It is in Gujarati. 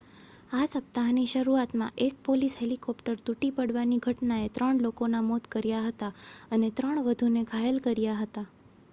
આ સપ્તાહની શરૂઆતમાં એક પોલીસ હેલીકોપ્ટર તૂટી પડવાની ઘટનાએ ત્રણ લોકોનાં મોત કર્યા હતા અને ત્રણ વધુને ઘાયલ કર્યા હતા